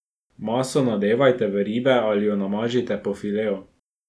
Maso nadevajte v ribe ali jo namažite po fileju.